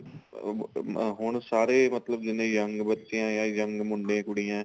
ਅਹ ਹੁਣ ਸਾਰੇ ਮਤਲਬ ਜਿੰਨੇ young ਬੱਚੇ ਏ ਜਾਂ young ਮੁੰਡੇ ਕੁੜੀਆਂ